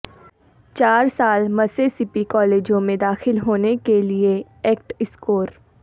چار سال مسیسپی کالجوں میں داخل ہونے کے لئے ایکٹ اسکور